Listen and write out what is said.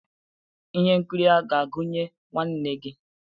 Ihe nkiri a ga-agụnye nwanne gị?